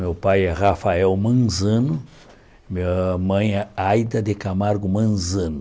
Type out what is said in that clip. Meu pai é Rafael Manzano, minha mãe é Aida de Camargo Manzano.